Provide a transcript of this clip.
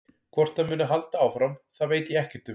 Hvort það muni halda áfram það veit ég ekkert um.